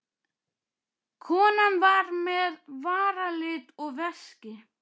Konan var með varalit og veski.